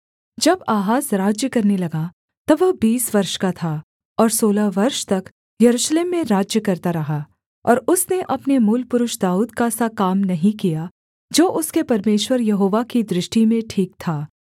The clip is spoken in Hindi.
जब आहाज राज्य करने लगा तब वह बीस वर्ष का था और सोलह वर्ष तक यरूशलेम में राज्य करता रहा और उसने अपने मूलपुरुष दाऊद का सा काम नहीं किया जो उसके परमेश्वर यहोवा की दृष्टि में ठीक था